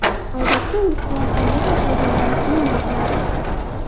Odatda u qor eriy boshlagandan keyin yopiladi.